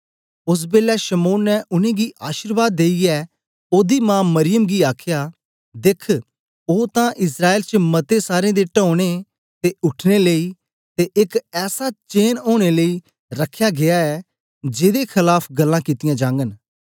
ओसबेलै शमौन ने उनेंगी अशीर्वाद देईयै ओदी मां मरियम गी आखया देख्ख ओ तां इस्राएल च मते सारें दे टौने ते उठने लेई ते एक ऐसा चेन ओनें लेई रख्या गीया ऐ जेदे खलाफ गल्लां कित्तियां जागन